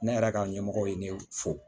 Ne yɛrɛ ka ɲɛmɔgɔ ye ne fo